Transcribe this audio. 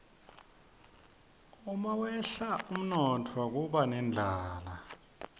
umawehla umnotfo kuba nendlala